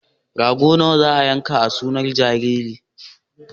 Rago nawa za a yanka a sunar jaririn?